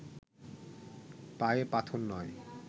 পায়ে পাথর নয়